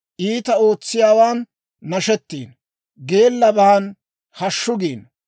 Iitaa ootsiyaawaan nashettiino; geellaban hashshu giino.